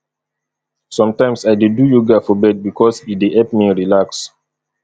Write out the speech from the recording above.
sometimes i dey do yoga for bed bikos e dey help me relax